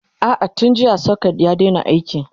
a'a tun jiya socket ya Daina aiki